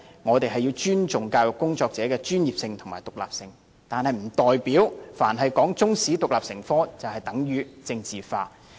我們要尊重教育工作者的專業和獨立地位，但不代表凡提出將中史獨立成科，就是將之政治化。